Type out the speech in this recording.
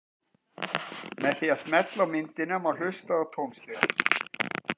með því að smella á myndina má hlusta á tónstigann